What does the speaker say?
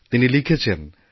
তিনি লিখেছেনঃ